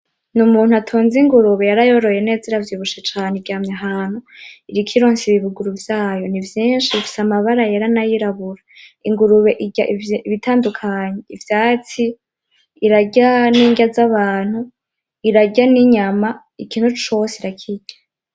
N’umuntu atunze ingurube yarayoroye neza iravyibushe cane iryamye ahantu iriko ironsa ibibuguru vyayo n’ivyinshi bifise amabara yera n’ayirabura. ingurube irya ibitandukanye Ivyatsi; irarya n’irya z’abantu ; irarya n’inyama ikintu cose irakirya.